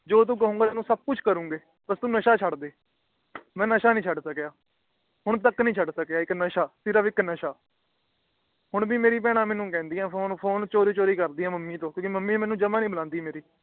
ਜੋ ਤੂੰ ਕਹੇਗਾ ਊ ਸਬ ਕੁਛ ਕਰਾਂਗੇ ਬੱਸ ਤੂੰ ਨਸ਼ਾ ਛੱਡ ਦੇ ਮੈ ਨਸ਼ਾ ਨੀ ਛੱਡ ਸਕਿਆ ਹੁਣ ਤਕ ਨੀ ਛੱਡ ਸਕਿਆ ਨਸ਼ਾ ਸਿਰਫ ਇਕ ਨਸ਼ਾ ਹੋਣ ਭੀ ਮੇਰਾ ਬਹਿਣਾ ਮੇਨੂ ਕਹਿੰਦਿਆਂ ਫੋਨ ਫੋਨ ਭੀ ਚੋਰੀ ਚੋਰੀ ਕਰਦਿਆਂ ਆ ਮੰਮੀ ਤੂ ਕਿਉਕਿ ਮੰਮੀ ਮੇਰੀ ਜਮਾ ਨੀ ਬੁਲਾਂਦੀ ਮੇਨੂ